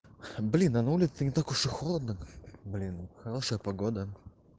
блин а на улице не так уж и холодно блин хорошая погода